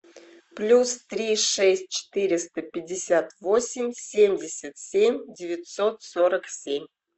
плюс три шесть четыреста пятьдесят восемь семьдесят семь девятьсот сорок семь